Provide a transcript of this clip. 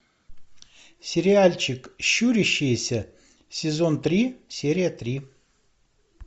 сериальчик щурящиеся сезон три серия три